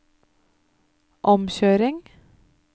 omkjøring